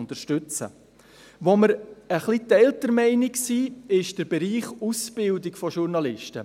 Wo wir etwas geteilter Meinung sind, ist der Bereich Ausbildung von Journalisten.